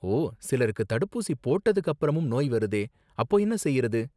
ஓ, சிலருக்கு தடுப்பூசி போட்டதுக்கு அப்பறமும் நோய் வருதே அப்போ என்ன செய்யறது?